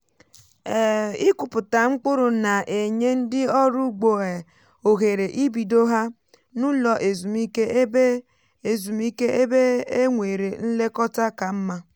um ịkụpụta mkpụrụ na-enye ndị ọrụ ugbo um ohere ibido ha n’ụlọ ezumike ebe e ezumike ebe e nwere nlekọta ka mma.